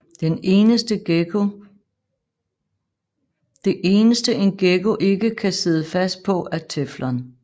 Det eneste en gekko ikke kan sidde fast på er teflon